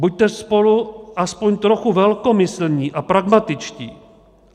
Buďte spolu alespoň trochu velkomyslní a pragmatičtí.